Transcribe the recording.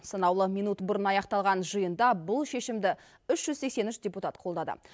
санаулы минут бұрын аяқталған жиында бұл шешімді үш жүз сексен үш депутат қолдады